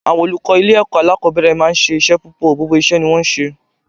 Àwọn olùkọ́ ilé ẹ̀kọ́ alákòbẹ̀rẹ̀ máa ń ṣe iṣẹ́ púpọ̀, gbogbo iṣẹ́ ni wón ń ṣe.